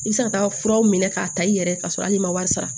I bɛ se ka taa furaw minɛ k'a ta i yɛrɛ ka sɔrɔ hali n'i ma wari sara